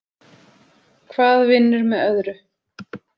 Hvað vinnur með öðru.